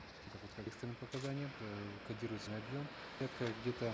это будет как экстренное показание к э кодируются на объем где то